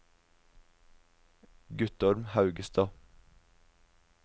Guttorm Haugstad